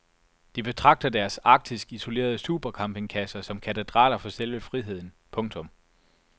De betragter deres arktisk isolerede supercampingkasser som katedraler for selve friheden. punktum